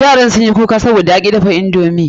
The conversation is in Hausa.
Yaran sun yi baobab, sabida ya ki dafa indomi.